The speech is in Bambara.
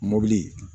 Mɔbili